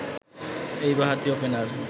এই বাঁহাতি ওপেনার